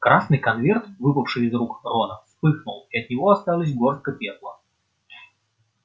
красный конверт выпавший из рук рона вспыхнул и от него осталась горстка пепла